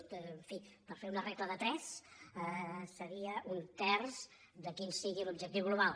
en fi per fer una regla de tres seria un terç del que sigui l’objectiu global